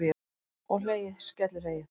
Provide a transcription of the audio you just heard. Og hlegið, skellihlegið!